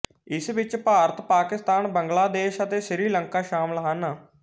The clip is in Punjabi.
ਇਸ ਵਿੱਚ ਭਾਰਤ ਪਾਕਿਸਤਾਨ ਬੰਗਲਾਦੇਸ਼ ਅਤੇ ਸ੍ਰੀਲੰਕਾ ਸ਼ਾਮਿਲ ਹਨ